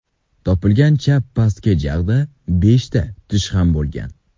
Topilgan chap pastki jag‘da beshta tish ham bo‘lgan.